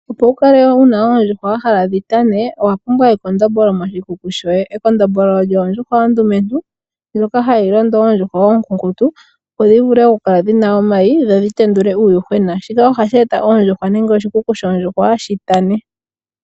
Opo wukale wuna oondjuhwa wa hala dhi tane, owa pumbwa ekondombolo moshikuku shoye. Ekondombolo olyo ondjuhwa ondumentu ndjoka hayi londo oondjuhwa onkiintu opo dhi vule oku kala dhina omayi dhodhi tendule uuyuhwena. Shika ohashi eta oondjuhwa nenge oshikuku shoondjuhwa shitane.